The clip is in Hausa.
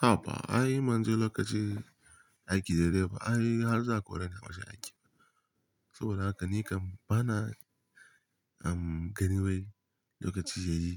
Haba, ai manjo lokaci aiki da dai ba ai har za a koreni a wajen aiki. Saboda haka ni kam bana ganin wai lokaci yayi